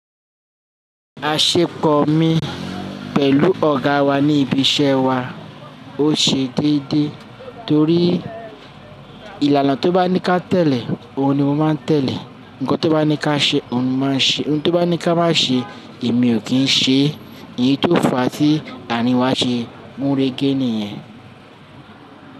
Aṣepọ̀ mi pẹ̀lú ọ̀gá wa ní ibi iṣẹ́ wa ó ṣe déédéé torí ìlànà ti o bá ní ká tẹ̀lé, òun ni mo máa n tẹ̀lé, nǹkan tó bá ní ká ṣe, òun ni mo máa n ṣe, ohun tó bá ní ki a má ṣe, èmi ò kí n ṣe, èyí tó fa tí aarin wa ṣe gunrege niyẹn.